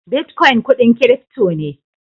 "Bitcoin" kudin "crypto" ne.